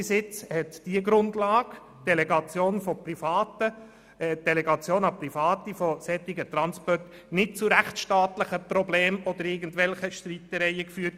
Bis jetzt hat diese Grundlage, Delegation an Private von solchen Transporten, nicht zu rechtstaatlichen Problemen oder irgendwelchen Streitereien geführt.